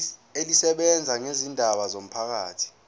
elisebenza ngezindaba zomphakathi